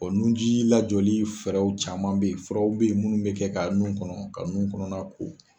O nunji lajɔli fɛrɛw caman be yen furaw be yen munnu be kɛ ka nun kɔnɔ ka nun kɔnɔna ko.